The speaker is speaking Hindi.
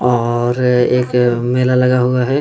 और अअ एक मेला लगा हुआ है।